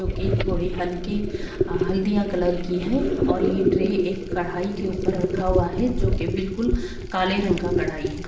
जो की थोड़ी हल्की हल्दिया कलर की है और यह ट्रे एक कढ़ाई के ऊपर रखा हुआ है जो कि बिल्कुल काले रंग का कढ़ाई है।